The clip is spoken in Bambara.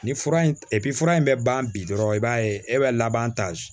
Ni fura in fura in bɛ ban bi dɔrɔn i b'a ye e bɛ laban ta